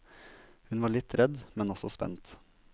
Hun var litt redd, men også spent.